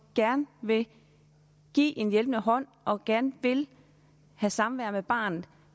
gerne vil give en hjælpende hånd og gerne vil have samvær med barnet